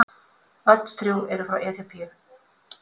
Öll þrjú eru frá Eþíópíu.